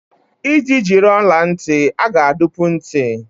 Iji jiri ọla ntị, a ga-adụpu ntị.